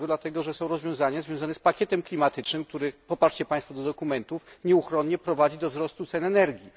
Dlatego, że są rozwiązania związane z pakietem klimatycznym, który poprzez poparcie państw dla dokumentów nieuchronnie prowadzi do wzrostu cen energii.